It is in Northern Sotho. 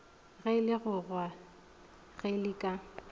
ge legogwa ge le ka